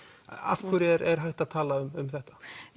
af hverju er hægt að tala um þetta